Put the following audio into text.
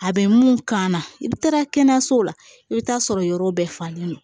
A bɛ mun kan na i bɛ taa kɛnɛyasow la i bɛ taa sɔrɔ yɔrɔ bɛɛ falen don